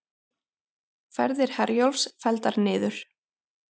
Ferðir Herjólfs felldar niður